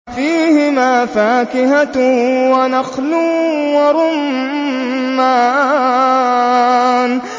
فِيهِمَا فَاكِهَةٌ وَنَخْلٌ وَرُمَّانٌ